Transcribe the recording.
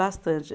Bastante.